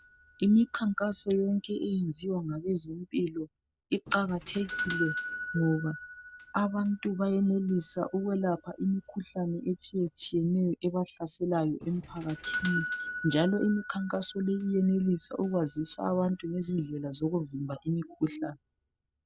Imikhankaso yonke eyenziwa ngabezempilo iqakathekile ngoba abantu bayenelisa ukwelapha imikhuhlane etshiye tshiyeneyo ebahlaselayo emphakathini, njalo imikhankaso le iyenelisa ukwazisa abantu ngezindlela zokuvimba imikhuhlane.